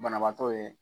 Banabaatɔ ye